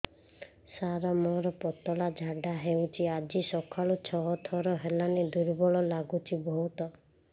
ସାର ମୋର ପତଳା ଝାଡା ହେଉଛି ଆଜି ସକାଳୁ ଛଅ ଥର ହେଲାଣି ଦୁର୍ବଳ ଲାଗୁଚି ବହୁତ